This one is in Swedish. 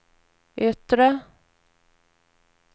yttre